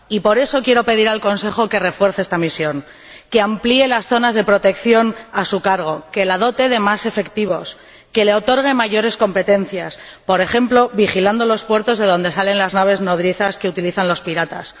Por eso, quiero pedir al Consejo que refuerce esta misión, que amplíe las zonas de protección a su cargo, que la dote de más efectivos y que le otorgue más competencias, por ejemplo, vigilando los puertos de donde salen las naves nodrizas que utilizan los piratas.